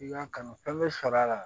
I y'a kanu fɛn bɛ sɔrɔ a la